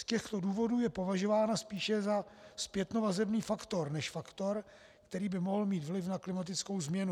Z těchto důvodů je považována spíše za zpětnovazební faktor než faktor, který by mohl mít vliv na klimatickou změnu.